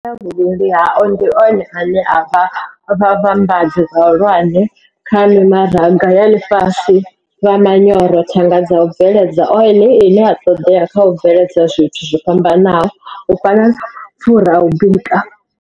Vhuvhili hao ndi one ane a vha vhavhambadzi vhahulwane kha mimaraga ya ḽifhasi vha manyoro, thanga dza u bveledza ole ine ya ṱoḓea kha u bveledza zwithu zwo fhambanaho u fana na mapfura a u bika.